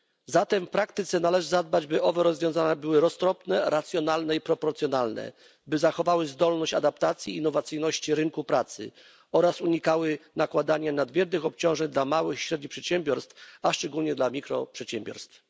Zatem w praktyce należy zadbać, by owe rozwiązania były roztropne, racjonalne i proporcjonalne, by zachowały zdolność adaptacji i innowacyjności rynku pracy oraz unikały nakładania nadmiernych obciążeń na małe i średnie przedsiębiorstwa, a szczególnie na mikroprzedsiębiorstwa.